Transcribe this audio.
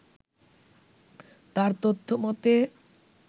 তার তথ্য মতে